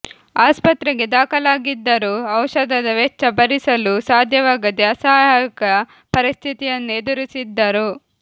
ಆಸ್ಪತ್ರೆಗೆ ದಾಖಲಾಗಿದ್ದರೂ ಔಷಧದ ವೆಚ್ಚ ಭರಿಸಲೂ ಸಾಧ್ಯವಾಗದೇ ಅಸಹಾಯಕ ಪರಿಸ್ಥಿತಿಯನ್ನು ಎದುರಿಸಿದ್ದರು